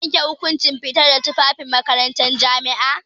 Za a iya yanke hukunci fitar da tufafin makarantar jami'a.